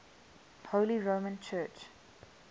holy roman church